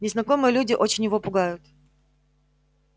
незнакомые люди очень его пугают